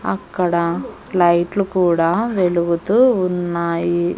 అక్కడ లైట్లు కూడా వెలుగుతూ ఉన్నాయి.